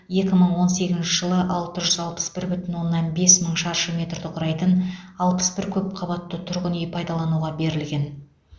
екі мың он сегізінші жылы алты жүз алпыс бір бүтін оннан бес мың шаршы метрді құрайтын алпыс бір көп қабатты тұрғын үй пайдалануға берілген